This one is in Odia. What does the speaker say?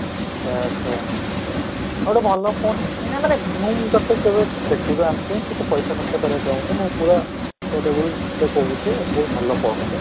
ସେଇଆ ସେଇଆ ସେଇଟା ଗୋଟେ ଭଲ phone କିଣେ ମାନେ ମୁଁ ତୋତେ କେବେ ଦେଖ ତୁ ତୋ ଜାଣିଛୁ ମୁଁ ତୋତେ ପଇସା ଖର୍ଚ୍ଚ କରିବା ଚାହୁଁନି ମୁଁ ପୁରା suitable ରେ କହୁଛି ଏଇ ଭଲ ପଢ଼ ଯା